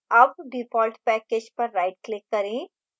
अब default package पर rightclick करें